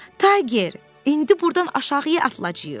Tayger, indi burdan aşağıya atılacağıq!